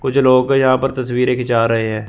कुछ लोग यहां पर तस्वीरें खींचा रहे हैं।